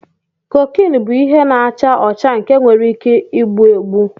Kokine bụ ihe na-acha ọcha nke nwere ike egbu egbu.